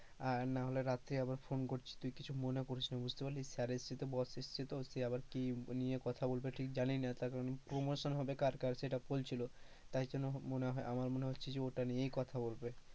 আর না হলে রাত্রে আবার phone করছি, তুই কিছু মনে করিসনা বুঝতে পারলি, sir এসছে তো boss এসছে তো সে আবার কি নিয়ে কথা বলবে ঠিক জানিনা, তারপরে promotion হবে কার কার সেটা বলছিল, তাই জন্য মনে হয়, আমার মনে হচ্ছে যে ওটা নিয়েই কথা বলবে।